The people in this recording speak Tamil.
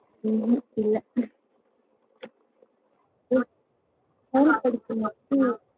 ஹம் இல்ல school படிச்சவுங்க மட்டும்